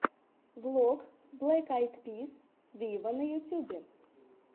влог блэк айд пис виво на ютубе